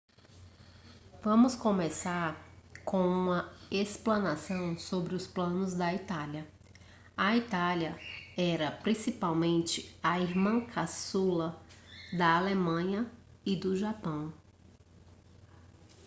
vamos começar com uma explanação sobre os planos da itália a itália era principalmente a irmã caçula da alemanha e do japão